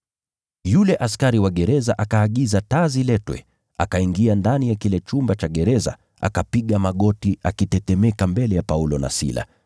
Yule askari wa gereza akaagiza taa ziletwe, akaingia ndani ya kile chumba cha gereza, akapiga magoti akitetemeka mbele ya Paulo na Sila.